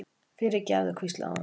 fyrirgefðu, hvíslaði hún.